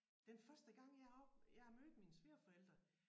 Den første gang jeg av jeg mødte mine svigerforældre